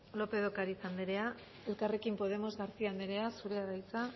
lópez de ocariz andreak elkarrekin podemos garcía andrea zurea da hitza